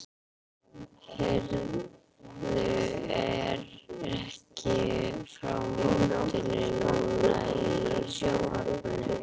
Heyrðu, er ekki frá mótinu núna í sjónvarpinu?